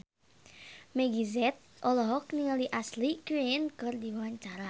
Meggie Z olohok ningali Ashley Greene keur diwawancara